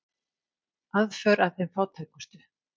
Aðför að þeim fátækustu